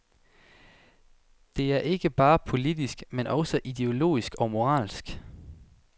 Det er ikke bare politisk, men også ideologisk og moralsk.